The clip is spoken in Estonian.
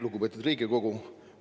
Lugupeetud Riigikogu!